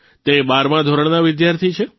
તે બારમા ધોરણના વિદ્યાર્થી છે